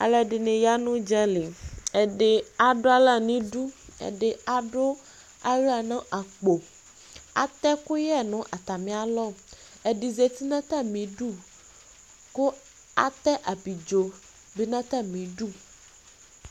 Alʋ ɛdini ya n'udzali Ɛdi adʋ aɣla n'idu, ɛdi adʋ aɣla nʋ akpɔ Atɛ ɛkʋyɛ nʋ atami alɔ, ɛdi zati n'atam'idu kʋ atɛ abidzo dʋ n'atamidu